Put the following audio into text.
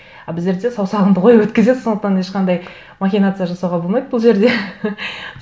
а біздерде саусағыңды қойып өткізеді сондықтан ешқандай махинация жасауға болмайды бұл жерде